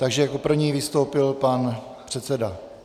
Takže jako první vystoupil pan předseda...